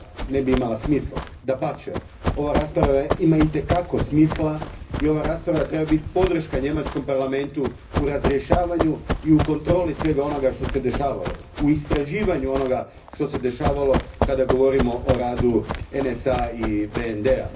ne bi imala smisla. Dapače, ova rasprava ima i te kako smisla i ova rasprava treba biti podrška njemačkom Parlamentu u razrješavanju i kontroli svega onoga što se dešavalo, u istraživanju onoga što se dešavalo kada govorimo o radu NSA a i BND a.